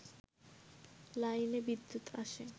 লাইনে বিদ্যুৎ আসে